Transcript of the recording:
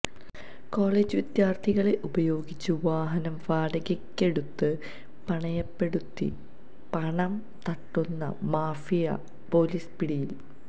college വിദ്യാർത്ഥികളെ ഉപയോഗിച്ച് വാഹനം വാടകയെക്കെടുത്ത് പണയപ്പെടുത്തി പണം തട്ടുന്ന മാഫിയ പോലീസ് പിടിയിൽ